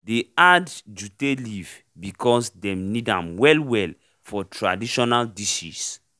dey add jute leaf because dem need am well well for traditional dishes